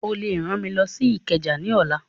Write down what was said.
Ó lè rán mi lọ sí Ìkẹjà ní ọ̀la